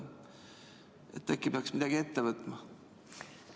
Äkki peaks midagi ette võtma?